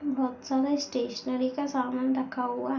बहुत सारा स्टेशनेरी का सामान रखा हुआ--